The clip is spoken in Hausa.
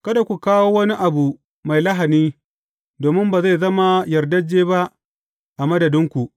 Kada ku kawo wani abu mai lahani, domin ba zai zama yardajje ba a madadinku.